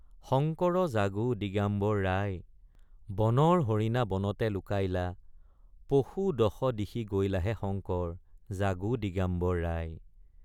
শঙ্কৰ জাগো দিগাম্বৰ ৰাই বনৰ হৰিণা বনতে লুকাইলা পশু দশ দিশি গৈলাহে শঙ্কৰ জাগো দিগাম্বৰ ৰাই।